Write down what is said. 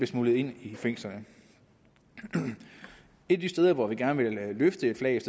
smuglet ind i fængslerne et af de steder hvor vi gerne vil løfte flaget